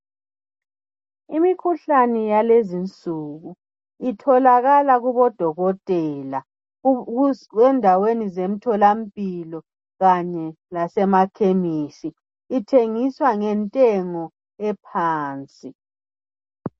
Imikhuhlane yakulezi insuku itholakala kubodokotela endaweni zemtholampilo kanye lasemakhemisi. Ithengiswa ngentengo ephansi.